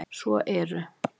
Svo eru